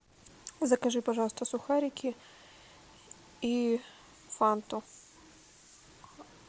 закажи пожалуйста сухарики и фанту